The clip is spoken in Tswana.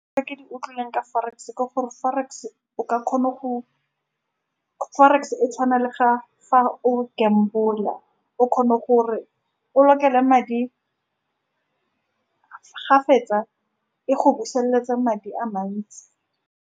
Tse ke di utlwileng ka forex-e, ke gore forex-e o ka khona go forex-e e tshwana le ga, fa o gamble-la. O kgona gore o lokele madi ga o fetsa, e go busetsa madi a mantsi.